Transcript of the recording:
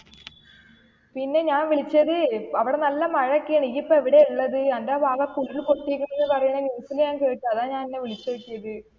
പിന്നെ ഞാൻ വിളിച്ചത് അവിടെ നല്ല മഴ എക്കെണ് ഇയ്യിപ്പൊ എവിടെ ഉള്ളത് എന്റെ ഭാഗത്തു ഒക്കെ ഉരുള് പൊട്ടിയെക്കണ് എന്ന് പറയണ news ഞാൻ കേട്ട് അതാ ഞാൻ നിന്നെ വിളിച്ചു നോക്കിയത്.